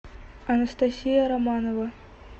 анастасия романова